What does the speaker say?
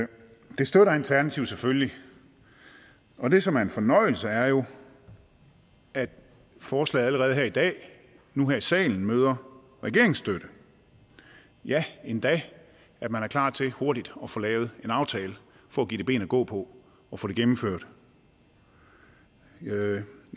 det støtter alternativet selvfølgelig og det som er en fornøjelse er jo at forslaget allerede her i dag nu her i salen møder regeringsstøtte ja endda at man er klar til hurtigt at få lavet en aftale for at give det ben at gå på og få det gennemført jeg